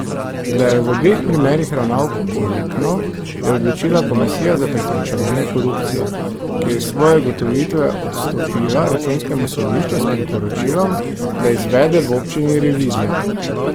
Da je v obeh primerih ravnal koruptno, je odločila komisija za preprečevanje korupcije, ki je svoje ugotovitve odstopila računskemu sodišču s priporočilom, da izvede v občini revizijo.